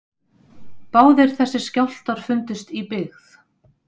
Báðir þessir skjálftar fundust í byggð